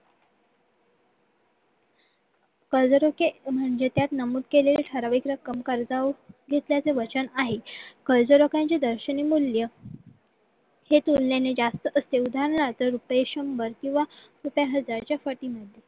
कर्जरोखे म्हणजे त्यात नमूद केलेले ठराविक रक्कम कर्जावर घेतल्याचे वचन आहे कर्जरोख्यांचे दर्शनी मूल्य हे तुलनेने जास्त असते उदाहरणात रुपये शंभर किंवा रुपये हजार पटीने